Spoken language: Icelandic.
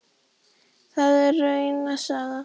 Það er rauna saga.